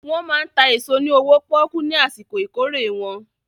Wọ́n máa ń ta èso ní owó pọ́ọ́kú ní àsìkò ìkórè wọn.